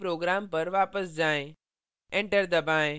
अब अपने program पर वापस जाएँ